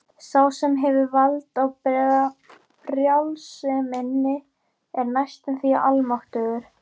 Sá sem hefur vald á brjálseminni er næstum því almáttugur.